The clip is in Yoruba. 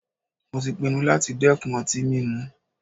Mó tí pinnu láti dẹ́kun ọtí mímu.